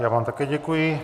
Já vám také děkuji.